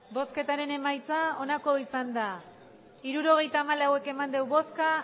hirurogeita hamalau eman dugu bozka